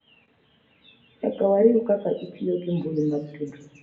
Nyaka wariw kaka itiyo gi mbui mag tudruok